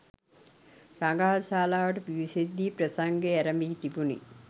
රඟහල් ශාලාවට පිවිසෙද් දී ප්‍රසංගය ඇරඹී තිබුණි.